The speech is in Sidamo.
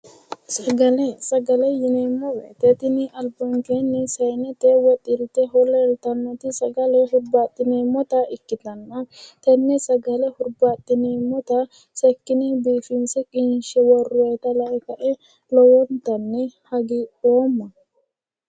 sagale sagale yineemmo wote tini albankeenni saanete woyi xilteho leeltannoti sagale hurbaaxxineemmota ikkitanna tenne sagale hurbaaxxineemmota sekkine biifinse qinshe worroonnita lae kae lowontanni hagiidhoomma .